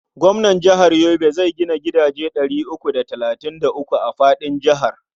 Gwamnan jihar Yobe zai gina gidaje ɗari uku da talatin da uku a faɗin jihar.